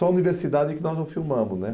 Só a universidade que nós não filmamos.né